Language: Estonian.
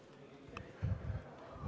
Kolm minutit lisaaega.